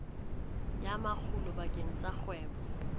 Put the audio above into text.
ya makgulo bakeng sa kgwebo